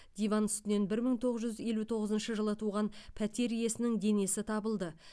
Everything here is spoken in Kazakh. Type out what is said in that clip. диван үстінен бір мың тоғыз жүз елу тоғызыншы жылы туған пәтер иесінің денесі табылды